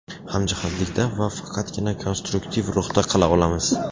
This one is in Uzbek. hamjihatlikda va faqatgina konstruktiv ruhda qila olamiz.